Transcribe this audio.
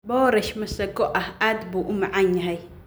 Boorash masago aad buu u macaan yahay